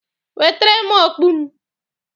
Wetere m okpu m!